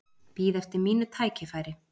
Bíð eftir mínu tækifæri